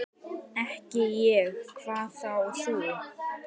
Ekki ég, hvað þá þú.